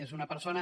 és una persona